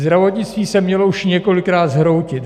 Zdravotnictví se mělo už několikrát zhroutit.